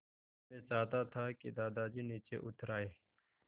मैं चाहता था कि दादाजी नीचे उतर आएँ